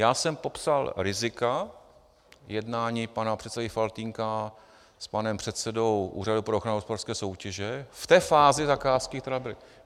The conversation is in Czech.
Já jsem popsal rizika jednání pana předsedy Faltýnka s panem předsedou Úřadu pro ochranu hospodářské soutěže v té fázi zakázky, která byla.